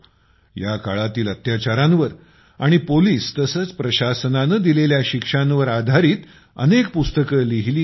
या काळातील अत्याचारांवर आणि पोलीस तसेच प्रशासनाने दिलेल्या शिक्षांवर आधारित अनेक पुस्तके लिहिली गेली